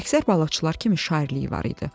Əksər balıqçılar kimi şairliyi var idi.